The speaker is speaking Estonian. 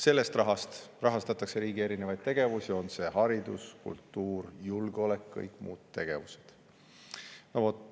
Sellest rahast rahastatakse erinevaid riigi tegevusi: haridus, kultuur, julgeolek, kõik muud tegevused.